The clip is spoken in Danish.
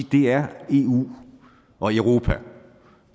det er eu og europa